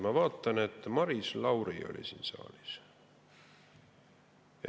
Ma vaatan, et Maris Lauri oli siin saalis.